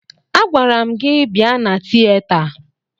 Agwara m gị bịa na tiyeta!